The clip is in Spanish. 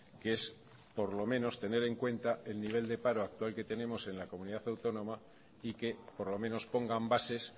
que es por lo menos tener en cuenta el nivel de paro actual que tenemos en la comunidad autónoma y que por lo menos pongan bases